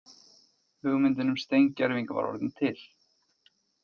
Hugmyndin um steingervinga var orðin til.